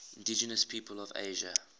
indigenous peoples of asia